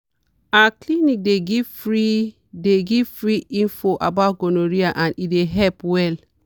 our clinic dey give free dey give free info about gonorrhea and e help well.